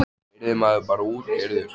Yrði maður bara útkeyrður?